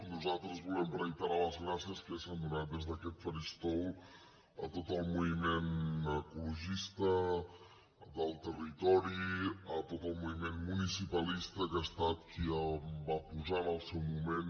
nosaltres volem reiterar les gràcies que ja s’han donat des d’aquest faristol a tot el moviment ecologista del territori a tot el moviment municipalista que ha estat qui va posar en el seu moment